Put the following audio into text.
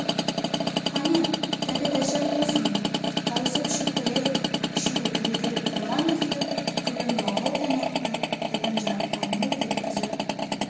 қане тәбет ашар болсын тауысып ішіп қояйық үшеуі түрегеліп тұрған күйі күрең-лағыл коньякты түбін жарыққа мөлт еткізіп